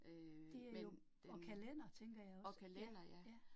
Øh men hm, og kalender ja